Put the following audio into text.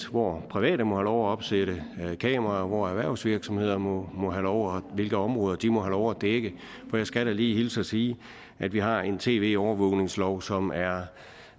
hvor private må have lov at opsætte kameraer hvor erhvervsvirksomheder må have lov og hvilke områder de må have lov at dække for jeg skal da lige hilse og sige at vi har en tv overvågningslov som er